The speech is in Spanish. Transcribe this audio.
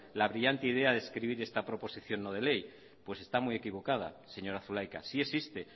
la brillante idea de escribir esta proposición no de ley pues está muy equivocada señora zulaika si existe